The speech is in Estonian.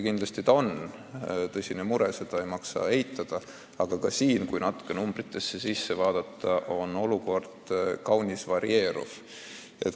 Kindlasti see on tõsine mure, seda ei maksa eitada, aga kui natuke numbritesse süveneda, siis selgib, et olukord on kaunis varieeruv.